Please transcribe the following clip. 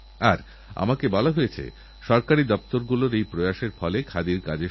আর যখন আমি let us AIM to innovate বলি তখন এআইএম এর মানে হল আতাল ইনোভেশন মিশন